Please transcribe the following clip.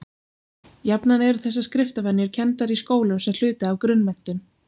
jafnan eru þessar skriftarvenjur kenndar í skólum sem hluti af grunnmenntun